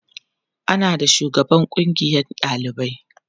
ana da shugaban kungiyan ɗalibai